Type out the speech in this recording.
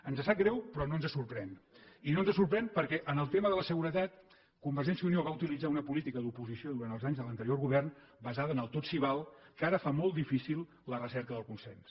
ens sap greu però no ens sorprèn i no ens sorprèn perquè en el tema de la seguretat convergència i unió va utilitzar una política d’oposició durant els anys de l’anterior govern basada en el tot s’hi val que ara fa molt difícil la recerca del consens